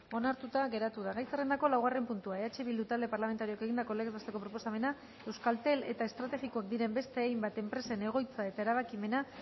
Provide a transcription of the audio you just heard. onartuta geratu da gai zerrendako laugarren puntua eh bildu talde parlamentarioak egindako legez besteko proposamena euskaltel eta estrategikoak diren beste hainbat enpresen egoitza eta erabakimena